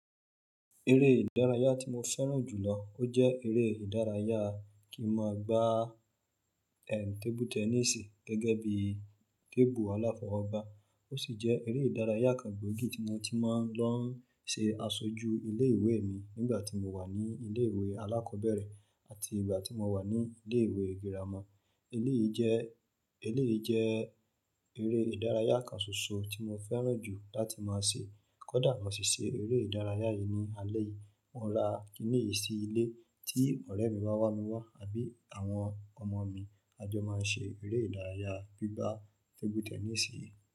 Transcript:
Eré ìdárayá tí mo fẹ́ràn jù lọ, ó jẹ́ eré ìdárayá kí máa gbá, ẹ, tébú tẹnísì gẹ́gẹ́ bí tébù aláfọwọ́ba. Ó sì jẹ́ eré ìdárayá kan gbòógì tí mo ti máa ń lọ ṣe aṣojú ilé ìwé mi nígbà tí mo wà ní ilé ìwé alákọ̀ọ́bẹ̀rẹ̀ àti ìgbà tí mo wà ní ilé ìwé girama. Eléyìí jẹ́, eléyìí jẹ́ eré ìdárayá kan ṣoṣo tí mo fẹ́ràn jù láti máa ṣe. Kódà mo sì ṣe eré ìdárayá yìí ní alẹ́ yìí, mo máa rà a kiní yìí sí ilé tí ọ̀rẹ́ mi bá wá wá mi wá àbí àwọn ọmọ mi, a jọ máa ń ṣe eré ìdárayá gbígba tébú tẹnísì yìí.